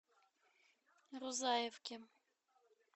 рузаевке